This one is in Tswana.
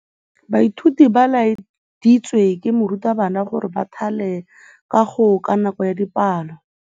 Baithuti ba laeditswe ke morutabana gore ba thale kagô ka nako ya dipalô.